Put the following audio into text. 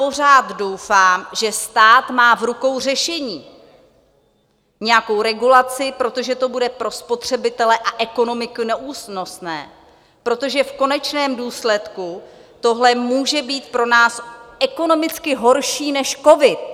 Pořád doufám, že stát má v rukou řešení, nějakou regulaci, protože to bude pro spotřebitele a ekonomiku neúnosné, protože v konečném důsledku tohle může být pro nás ekonomicky horší než covid.